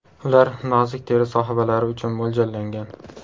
Ular nozik teri sohibalari uchun mo‘ljallangan.